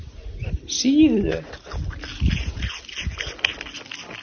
Síðu